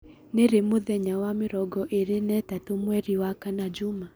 Nĩ ri mũthenya wa mĩrongo ĩĩrĩ na ĩtatũ mweri wa kana juma